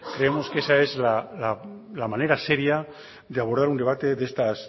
creemos que esa es la manera seria de abordar un debate de estas